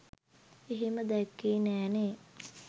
එහෙම දැක්කේ නෑනේ